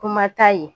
Kuma ta ye